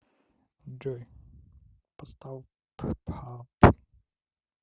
джой поставь ппап